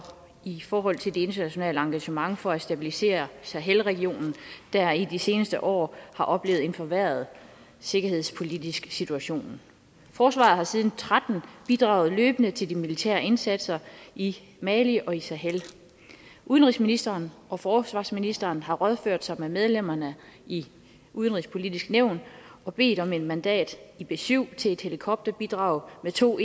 i forhold til det internationale engagement for at stabilisere sahel regionen der i de seneste år har oplevet en forværret sikkerhedspolitisk situation forsvaret har siden og tretten bidraget løbende til de militære indsatser i mali og i sahel udenrigsministeren og forsvarsministeren har rådført sig med medlemmerne i udenrigspolitisk nævn og bedt om et mandat i b syv til et helikopterbidrag med to